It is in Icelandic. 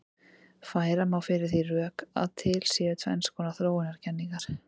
Færa má fyrir því rök að til séu tvenns konar þróunarkenningar.